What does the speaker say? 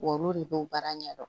W'olu de b'o baara ɲɛdɔn